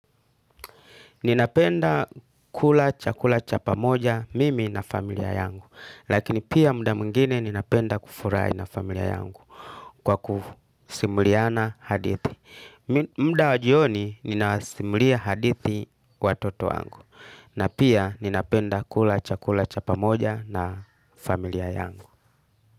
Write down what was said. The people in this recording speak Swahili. Ninapenda kula chakula cha pamoja mimi na familia yangu. Lakini pia muda mwingine ninapenda kufurahi na familia yangu kwa kusimuliana hadithi. Muda wajioni ninasimulia hadithi watoto wangu. Na pia ninapenda kula chakula cha pamoja na familia yangu.